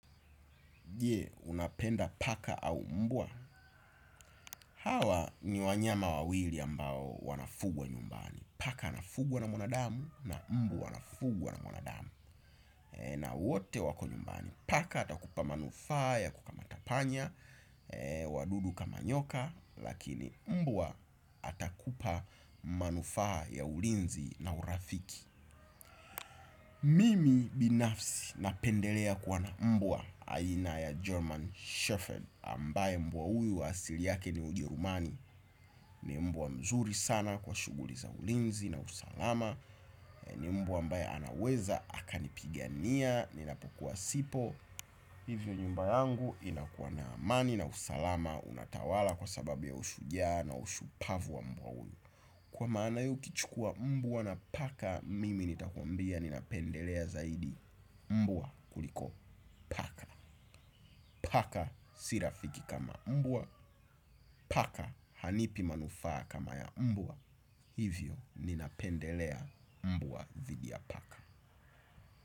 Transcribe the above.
Je, unapenda paka au mbwa. Hawa ni wanyama wawili ambao wanafugwa nyumbani. Paka anafugwa na mwanadamu na mbwa anafugwa na mwanadamu. Na wote wako nyumbani. Paka atakupa manufaa ya kukamata panya. Wadudu kama nyoka lakini mbwa atakupa manufaa ya ulinzi na urafiki. Mimi binafsi napendelea kuwa na mbwa. Aina ya German Shepherd Ambaye mbwa huyu asili yake ni ujerumani. Ni mbwa mzuri sana kwa shuguli za ulinzi na usalama. Ni mbwa mbaye anaweza, akanipigania, ninapokuwa sipo. Hivyo nyumba yangu inakuwa na amani na usalama. Unatawala kwa sababu ya ushujaa na ushupavu wa mbwa huyu. Kwa maana hiyo ukichukua mbwa na paka mimi nitakumbia ninapendelea zaidi mbwa kuliko paka. Paka si rafiki kama mbwa. Paka hanipi manufaa kama ya mbwa. Hivyo ninapendelea mbwa dhidi ya paka.